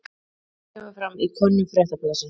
Þetta kemur fram í könnun Fréttablaðsins